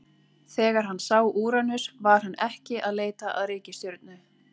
Þegar hann sá Úranus var hann ekki að leita að reikistjörnu.